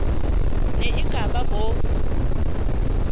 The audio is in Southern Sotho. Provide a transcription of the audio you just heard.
ne e ka ba bo